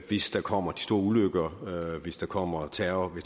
hvis der kommer store ulykker hvis der kommer terror